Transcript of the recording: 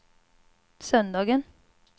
söndagen